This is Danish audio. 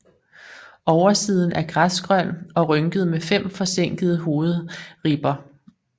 Oversiden er græsgrøn og rynket med fem forsænkede hovedribber